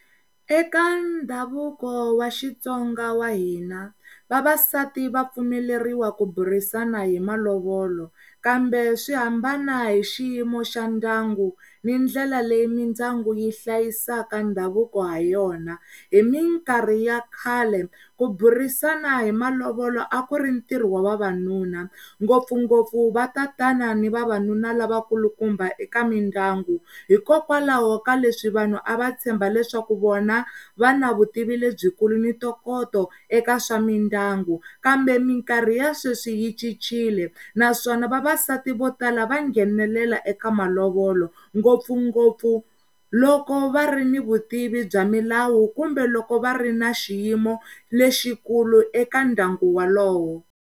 Eka ndhavuko wa Xitsonga wa hina vavasati va pfumeleriwa ku burisana hi malovolo kambe swi hambana hi xiyimo xa ndyangu Ni tindlela leyi mindyangu yi hlayisaka ndhavuko ha yona hi mikarhi ya khale ku burisana hi malovolo a ku ri ntirho wa vavanuna ngopfungopfu va tatana ni vavanuna lava nkulukumba eka mindyangu hikokwalaho leswi vanhu a va tshemba leswaku vona vana vutivi le byi nkulu ntokoto eka swa mindyangu kambe mikarhi ya sweswi cincile naswona vavasati vo tala va nghenelela eka malovola ngopfungopfu loko va ri ni vutivi bya milawu kumbe loko va ni xiyimo lexikulu eka ndyangu wolowo.